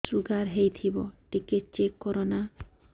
sugar ହେଇଥିବ ଟିକେ check କର ନା